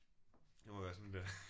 Det må være sådan det er